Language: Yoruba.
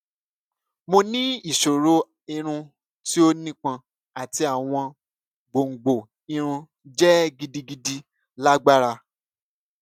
mo ni iṣoro irun ti o nipọn ati awọn gbongbo irun jẹ gidigidi lagbara